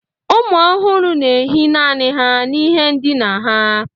ụmụ ọhụrụ na-ehi naanị ha n'ihe ndina ha